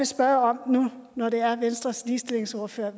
spørge om nu når vi har venstres ligestillingsordfører